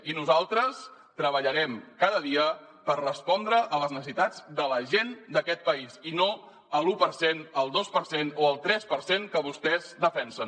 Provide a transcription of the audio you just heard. i nosaltres treballarem cada dia per respondre a les necessitats de la gent d’aquest país i no a l’u per cent al dos per cent o el tres per cent que vostès defensen